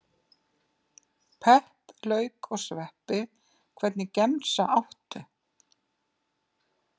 Pepp lauk og sveppi Hvernig gemsa áttu?